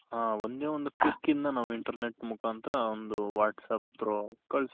ಹಾ ಒಂದೇ ಒಂದು pick ಇಂದ ನಾವು internet ಮುಖಾಂತರ ಒಂದು Whats App through ಕಳ್ಸ್